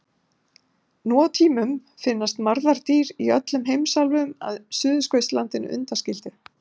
Nú á tímum finnast marðardýr í öllum heimsálfum að Suðurskautslandinu undanskildu.